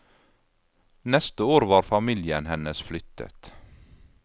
Neste år var familien hennes flyttet.